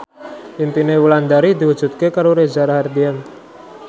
impine Wulandari diwujudke karo Reza Rahardian